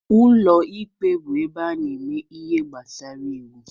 Ụlọ ikpe bụ ebe a na-eme ihe gbasara iwu.